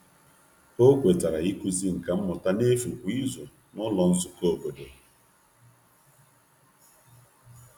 O kwetara ịkụzi nka mmụta n’efu kwa izu n’ụlọ nzukọ obodo.